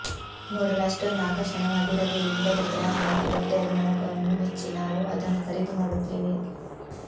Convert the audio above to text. ನೋಡಲು ಅಷ್ಟೊಂದು ಆಕರ್ಷಕವಾಗಿರದೇ ಇದ್ದರೂ ಬ್ರ್ಯಾಂಡ್ ಮತ್ತು ಬಟ್ಟೆಯ ಗುಣಮಟ್ಟವನ್ನು ಮೆಚ್ಚಿ ನಾವು ಅದನ್ನು ಖರೀದಿ ಮಾಡುತ್ತೇವೆ